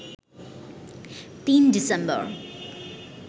৩ December